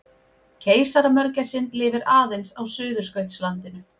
Keisaramörgæsin lifir aðeins á Suðurskautslandinu.